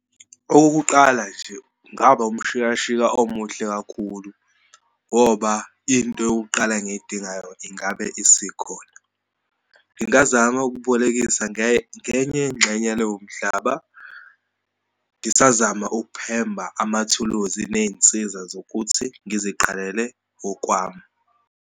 Okokuqala nje, kungaba umshikashika omuhle kakhulu ngoba into yokuqala engiyidingayo ingabe isikhona. Ngingazama ukubolekisa ngenye yengxenye yaloyomhlaba, ngisazama ukumphemba amathuluzi neyinsiza zokuthi ngiziqalele okwami.